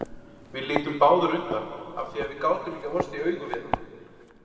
Við litum báðar undan af því að við gátum ekki horfst í augu við hana.